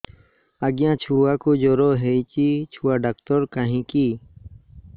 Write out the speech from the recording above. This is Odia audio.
ଆଜ୍ଞା ଛୁଆକୁ ଜର ହେଇଚି ଛୁଆ ଡାକ୍ତର କାହିଁ କି